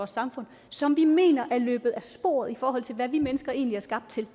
samfund som vi mener er løbet af sporet i forhold til hvad vi mennesker egentlig er skabt til